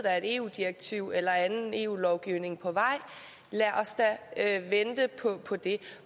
er et eu direktiv eller anden eu lovgivning på vej lad os da vente på på det